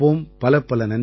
பலப்பல நன்றிகள்